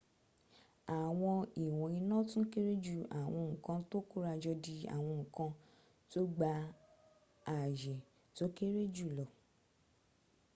àwọn ìwọn iná tún kéré ju àwọn n´ kan tó kórajọ di àwọn ìwọn nkan tó gba àyè tó kéré jùlọ